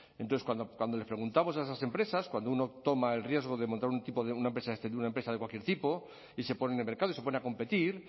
entonces cuando les preguntamos a esas empresas cuando uno toma el riesgo de montar una empresa de cualquier tipo y se pone en el mercado y se pone a competir